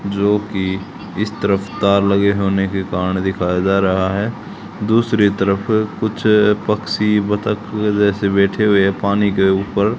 जो कि इस तरफ तार लगे होने के कारण दिखाया जा रहा है दूसरी तरफ कुछ पक्षी बतख जैसे बैठे हुए हैं पानी के ऊपर।